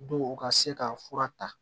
Dɔw u ka se ka fura ta